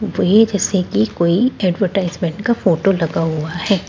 वही जैसे की कोई ऐडवरटाइजमैंट का फोटो लगा हुआ है।